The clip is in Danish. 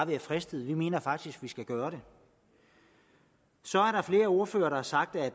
være fristet vi mener faktisk at man skal gøre det så er der flere ordførere der har sagt at